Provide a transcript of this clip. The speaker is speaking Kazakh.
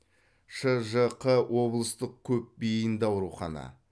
шжқ облыстық көпбейінді аурухана